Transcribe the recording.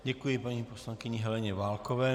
Děkuji paní poslankyni Heleně Válkové.